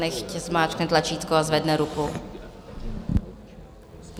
Nechť zmáčkne tlačítko a zvedne ruku.